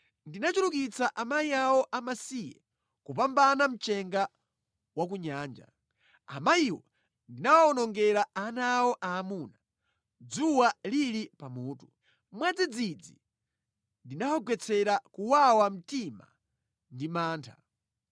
Ndinachulukitsa amayi awo amasiye kupambana mchenga wa kunyanja. Amayiwo ndinawawonongera ana awo aamuna dzuwa lili pamutu. Mwadzidzidzi ndinawagwetsera kuwawa mtima ndi mantha.